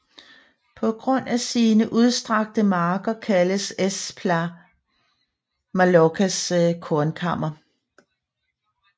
På grund af sine udstrakte marker kaldes Es Plà Mallorcas kornkammer